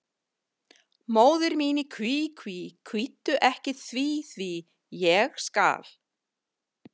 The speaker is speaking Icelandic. Móðir mín í kví, kví, kvíddu ekki því, því, ég skal.